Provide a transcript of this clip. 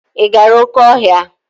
Ị gara oké ọhịa?